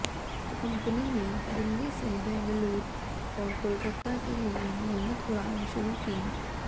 company ने दिल्ली से बेंगलूर और कोलकाता के लिए नियमित उड़ानें शुरू की